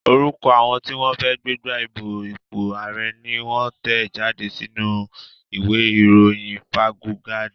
Orúkọ àwọn tí wọ́n fẹ́ gbégbá ìbò fún ipò ààrẹ́ ni wón tẹ̀ jáde sínú u ìwé ìròyìn fáuńgádì